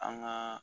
An ka